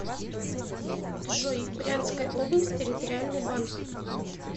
джой брянская область территориальный банк